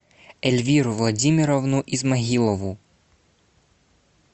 эльвиру владимировну исмагилову